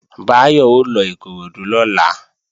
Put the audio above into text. Báyọ̀ ó lọ Ìkoròdú lọ́la